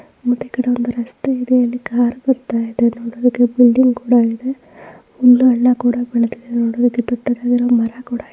ಮತ್ತೆ ಈ ಕಡೆ ಒಂದು ರಸ್ತೆ ಇದೆ. ಅಲ್ಲಿ ಒಂದ್ ಕಾರ್ ಬರ್ತಾಇದೇ ಒಂದ್ಬಿಲ್ಡಿಂಗ್ ಇದೆ --